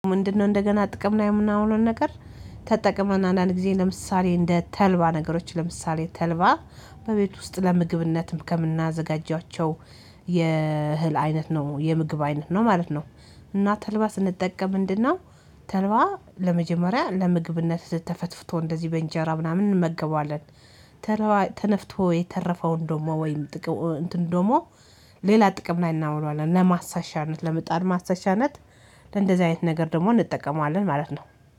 ምንድነው? እንደገና ጥቅም ላይ የምናውለው ነገር ተጠቅመን አንዳንድ ጊዜ ለምሳሌ እንደ ተልባ ነገሮች ለምሳሌ ተልባ በቤት ውስጥ ለምግብነትም ከምናዘጋጃቸው የእህል አይነት ነው የምግብ አይነት ነው ማለት ነው። እና ተልባ ስንጠቀም ምንድነው? ተልባ ለመጀመሪያ ለምግብነት ተፈትፍቶ እንደዚህ በእንጀራ ምናምን እንመገበዋለን። ተነፍቶ የተረፈውን ደግሞ ወይም ጥቅም እንትን ደግሞ ሌላ ጥቅም ላይ እናውራለን። ለማሳሻነት ለመጣል ማሳሻነት ለእንደዚህ አይነት ነገር ደግሞ እንጠቀመዋለን ማለት ነው